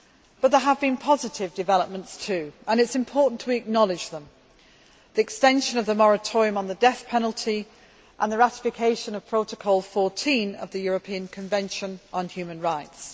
But there have been positive developments too, and it is important we acknowledge them the extension of the moratorium on the death penalty and the ratification of Protocol 14 of the European Convention on Human Rights.